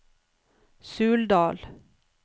Suldal